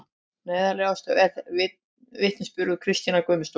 Neyðarlegastur er vitnisburður Kristínar Guðmundardóttur